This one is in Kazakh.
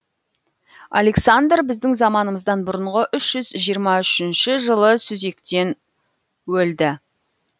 александр біздің заманымыздан бұрынғы үш жүз жиырма үшінші жылы сүзектен өлді